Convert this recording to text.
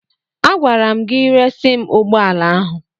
Agwara m gị resi m ụgbọala ahụ!